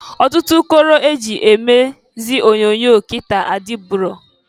Ọtụtụ ụkọrọ e ji emezi onyoonyo kịta adịburo.